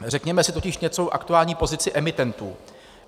Řekněme si totiž něco o aktuální pozici emitentů.